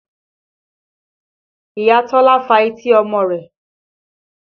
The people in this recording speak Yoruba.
Ìyá Tọ́lá fa etí ọmọ rẹ̀